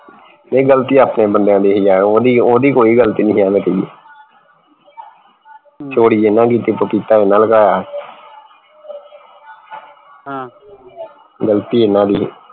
ਨਹੀਂ ਗਲਤੀ ਆਪਣੇ ਬੰਦਿਆ ਦੀ ਸੀ ਓਹਦੀ ਓਹਦੀ ਕੋਈ ਗਲਤੀ ਨਹੀਂ ਸੀ ਐਂਵੇ ਕਹੀਏ ਚੋਰੀ ਇਹਨਾਂ ਦੀ ਪਪੀਤਾ ਇਹਨਾਂ ਨੇ ਲੁਕਾਇਆ ਗਲਤੀ ਇਹਨਾਂ ਦੀ ਸੀ